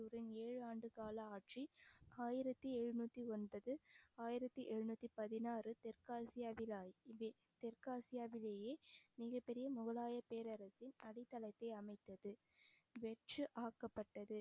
உடன் ஏழு ஆண்டு கால ஆட்சி ஆயிரத்தி எழுநூத்தி ஒன்பது ஆயிரத்தி எழுநூத்தி பதினாறு தெற்காசியவிலா இது தெற்காசியாவிலேயே மிகப் பெரிய முகலாய பேரரசின் அடித்தளத்தை அமைத்தது வெற்று ஆக்கப்பட்டது